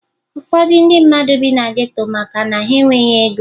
Ụfọdụ ndị mmadụ bi na geto maka na ha e nweghi ego